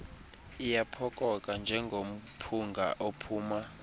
iyaphokoka njengomphunga ophuma